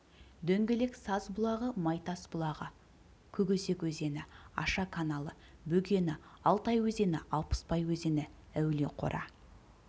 дөңгелек саз бұлағы майтас бұлағы көкөзек өзені аша каналы бөгені алтай өзені алпысбай өзені әулиеқора